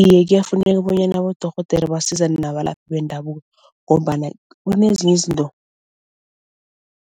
Iye kuyafuneka bonyana abodorhodera basizane nabalaphi bendabuko ngombana kunezinye izinto